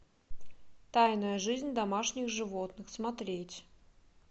тайная жизнь домашних животных смотреть